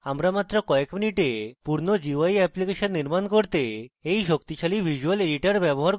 আমরা মাত্র কয়েক minutes পূর্ণ gui অ্যাপ্লিকেশন নির্মাণ করতে we শক্তিশালী visual editor ব্যবহার করব